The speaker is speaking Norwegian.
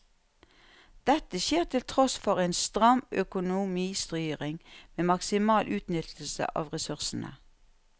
Dette skjer til tross for en stram økonomistyring med maksimal utnyttelse av ressursene.